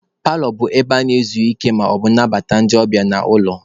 Paalọ bụ ebe a na-ezu ike ma na-anabata ndị ọbịa n'ụlọ.